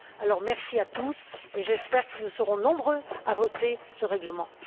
Alors merci à tous et j'espère que nous serons nombreux à voter ce règlement.